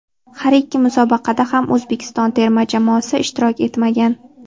Har ikki musobaqada ham O‘zbekiston terma jamoasi ishtirok etmagan.